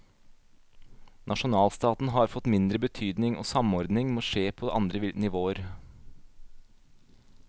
Nasjonalstaten har fått mindre betydning, og samordningen må skje på andre nivåer.